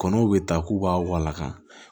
Kɔnɔw bɛ taa k'u b'a waka